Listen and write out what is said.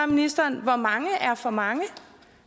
ministeren hvor mange er for mange